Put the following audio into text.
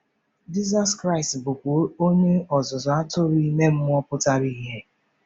Jizọs Kraịst bụkwa Onye Ọzụzụ Atụrụ ime mmụọ pụtara ìhè.